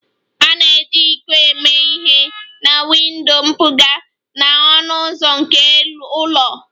A na-eji iko eme ihe na windo mpụga na ọnụ ụzọ nke ụlọ